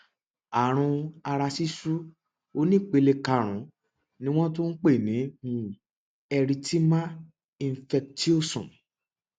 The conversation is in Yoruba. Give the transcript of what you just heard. àrùn ara ṣíṣú onípele karùnún ni wọn tún ń pè ní um erythema infectiosum